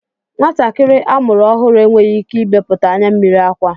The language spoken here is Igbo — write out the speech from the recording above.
Nwatakịrị a mụrụ ọhụrụ enweghị ike ibepụta anyammiri akwa